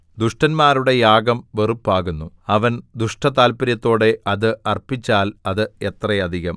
ദുഷ്ടന്മാരുടെ യാഗം വെറുപ്പാകുന്നു അവൻ ദുഷ്ടതാത്പര്യത്തോടെ അത് അർപ്പിച്ചാൽ എത്ര അധികം